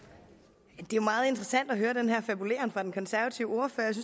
det er jo meget interessant at høre den her fabuleren fra den konservative